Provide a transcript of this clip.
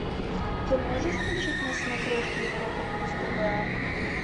ты можешь включить на смотрешке европа плюс тв